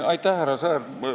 Aitäh, härra Sõerd!